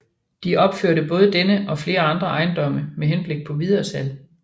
De opførte både denne og flere andre ejendomme med henblik på videresalg